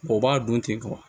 O b'a dun ten